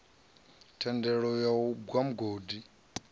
thendelo ya u gwa mugodi